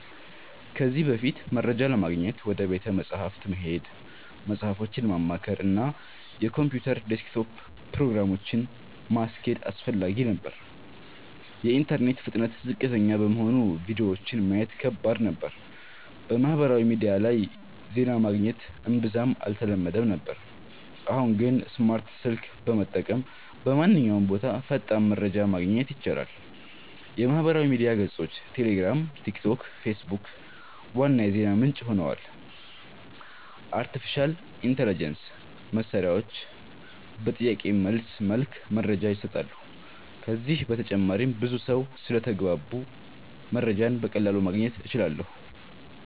ከዚህ በፊት፦ መረጃ ለማግኘት ወደ ቤተ መጻሕፍት መሄድ፣ መጽሃፎችን ማማከር፣ እና የኮምፒውተር ዴስክቶፕ ፕሮግራሞችን (እንደ Encarta) ማስኬድ አስፈላጊ ነበር። የኢንተርኔት ፍጥነት ዝቅተኛ በመሆኑ ቪዲዮዎችን ማየት ከባድ ነበር። በማህበራዊ ሚዲያ ላይ ዜና ማግኘት እምብዛም አልተለመደም ነበር። አሁን ግን፦ ስማርት ስልክ በመጠቀም በማንኛውም ቦታ ፈጣን መረጃ ማግኘት ይቻላል። የማህበራዊ ሚዲያ ገጾች (ቴሌግራም፣ ቲክቶክ፣ ፌስቡክ) ዋና የዜና ምንጭ ሆነዋል። አርቲፊሻል ኢንተሊጀንስ (AI) መሳሪያዎች (ChatGPT, Gemini) በጥያቄ መልስ መልክ መረጃ ይሰጣሉ። ከዚህ በተጨማሪም ብዙ ሰው ስለተግባባሁ መረጃን በቀላሉ ማግኘት እችላለሁ